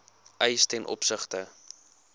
eise ten opsigte